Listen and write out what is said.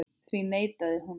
Því neitaði hún.